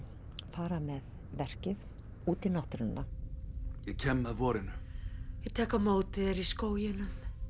fara með verkið út í náttúruna ég með vorinu ég tek á móti þér í skóginum